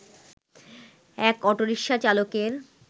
এক অটোরিকশা চালকের